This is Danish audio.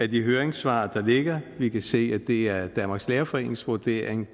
de høringssvar der ligger vi kan se at det er danmarks lærerforenings vurdering